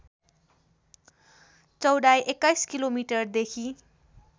चौडाइ २१ किलोमिटरदेखी